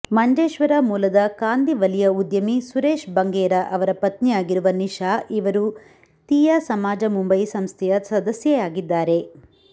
ಮಂಜೇಶ್ವರ ಮೂಲದ ಕಾಂದಿವಲಿಯ ಉದ್ಯಮಿ ಸುರೇಶ್ ಬಂಗೇರ ಅವರ ಪತ್ನಿಯಾಗಿರುವ ನಿಶಾ ಇವರು ತೀಯಾ ಸಮಾಜ ಮುಂಬಯಿ ಸಂಸ್ಥೆಯ ಸದಸ್ಯೆಯಾಗಿದ್ದಾರೆ